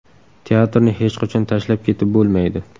Teatrni hech qachon tashlab ketib bo‘lmaydi.